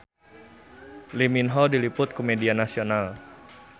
Lee Min Ho diliput ku media nasional